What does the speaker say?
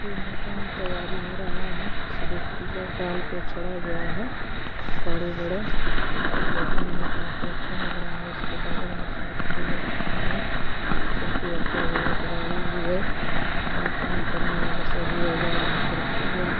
ये मकान तैयारी हो रहा है। सिर्फ एक पिलार डाल के छोड़ा गया है बड़े-बड़े और देखने में काफी अच्छा लग रहा है। इसके बगल में शायद फूल वगैरा भी है। चेटी रखा गया है कुदारी भी है। यानी काम करने वाला सभी औजार यहाँ पे रखा गया है।